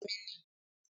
Bẹẹni témi ní